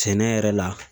Sɛnɛ yɛrɛ la